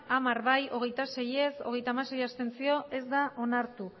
hamar ez hogeita sei abstentzioak hogeita hamasei ez da onartu